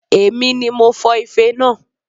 Èmi ni mo fọ ife naa